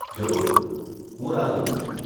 જરૂર, હું રાહ જોઉં છું.